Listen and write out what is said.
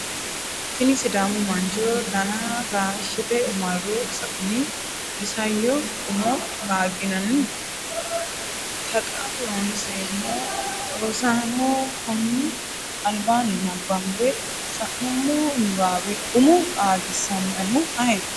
tini sidamu mancho dana taashshite marro sa’ini isayyo umo qaagginanni? Taqa Loonseemmo Rosaano, konni albaanni nabbambe sa’nummo niwaawe umo qaagisannoehu ayeeti?